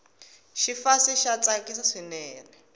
xifase xa tsakisa swinene